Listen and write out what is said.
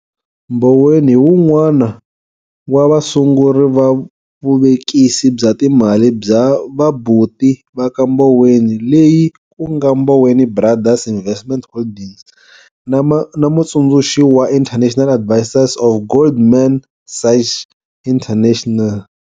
Mboweni hi wun'wana wa vasunguri va vuvekisi bya timali bya vabuti va ka Mboweni leyi ku nga Mboweni Brothers Investment Holdings na mutsundzuxi wa international advisor of Goldman Sachs International.